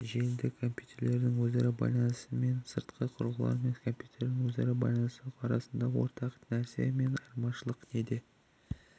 желідегі компьютерлердің өзара байланысы мен сыртқы құрылғылар мен компьютерлердің өзара байланысы арасындағы ортақ нәрсе мен айырмашылық неде